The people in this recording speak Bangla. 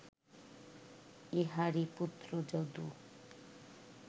ইঁহারই পুত্র যদু